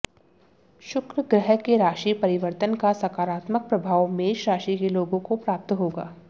शुक्र ग्रह के राशि परिवर्तन का सकारात्मक प्रभाव मेष राशि के लोगों को प्राप्त होगा